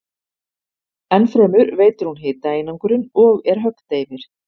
Enn fremur veitir hún hitaeinangrun og er höggdeyfir.